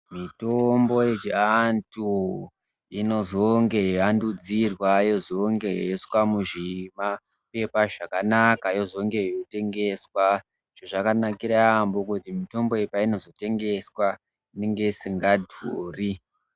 Mitombo yechiantu inozonge yeiandudzirwa, yozonge yeiiswa muzvimaphepha zvakanaka, yozonge yeitengeswa. Chezvakanakira yaampho kuti mutombo iyi peinozotengeswa, inenge isingadhuri.